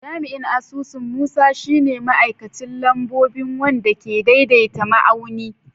Jami'in asusu Musa shi ne ma'aikacin lambobi wanda ke daidaita ma'auni.